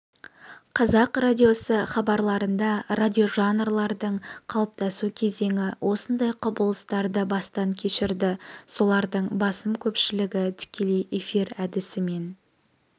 қазақ радиосы хабарларында радиожанрлардың қалыптасу кезеңі осындай құбылыстарды бастан кешірді солардың басым көпшілігі тікелей эфир әдісімен